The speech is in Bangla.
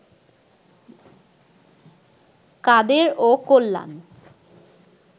কাদের ও কল্যাণ